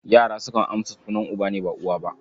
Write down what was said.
Yara sukan amsa sunan uba ne, ba uwa ba.